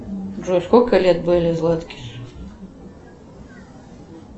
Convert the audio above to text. джой сколько лет белли златкис